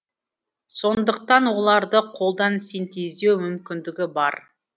сондықтан оларды қолдан синтездеу мүмкіндігі бар